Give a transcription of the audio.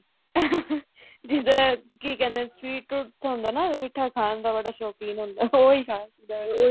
ਜਿਹਦਾ ਕੀ ਕਹਿੰਦੇ ਨੇ sweet tooth ਹੁੰਦਾ ਨਾ ਮਿੱਠਾ ਖਾਣ ਦਾ ਬੜਾ ਸ਼ੋਕੀਨ ਹੁੰਦਾ ਉਹੀ